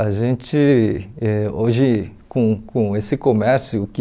A gente, eh hoje, com com esse comércio que...